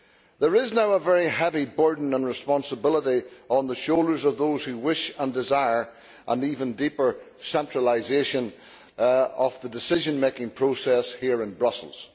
There is now a very heavy burden and responsibility on the shoulders of those who wish and desire an even deeper centralisation of the decision making process here in Brussels.